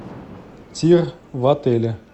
тир в отеле